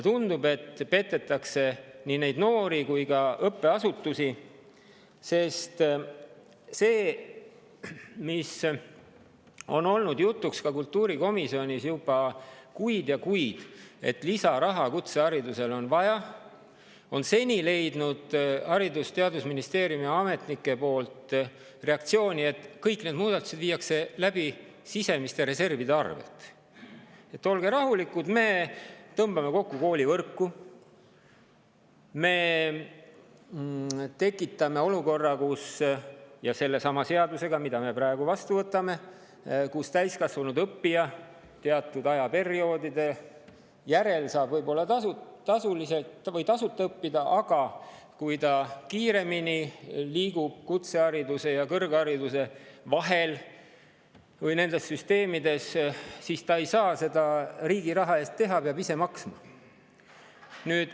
Tundub, et petetakse nii neid noori kui ka õppeasutusi, sest see, mis on olnud jutuks ka kultuurikomisjonis juba kuid ja kuid, et lisaraha kutseharidusele on vaja, on seni leidnud Haridus‑ ja Teadusministeeriumi ametnike poolt reaktsiooni, et kõik need muudatused viiakse läbi sisemiste reservide arvelt, et olge rahulikud, me tõmbame kokku koolivõrku, me tekitame olukorra – ja seda sellesama seadusega, mis siin praegu vastuvõtmisel on –, kus täiskasvanud õppija teatud ajaperioodide järel saab võib-olla tasuta õppida, aga kui ta liigub kiiremini kutsehariduse ja kõrghariduse vahel või nendes süsteemides, siis ta ei saa seda riigi raha eest teha, ta peab ise maksma.